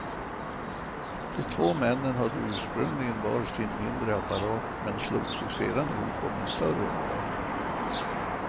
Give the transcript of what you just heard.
De två männen hade ursprungligen var sin mindre apparat men slog sig sedan ihop om en större modell.